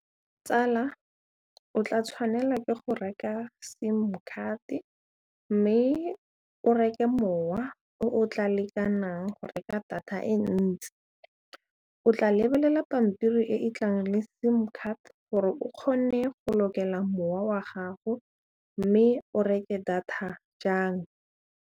Tsala o tla tshwanela ke go reka sim card mme o reke mowa o tla lekanang go reka data e ntsi o tla lebelela pampiri e e tlang le sim card gore o kgone go lokela mowa wa gago mme o reke data jang.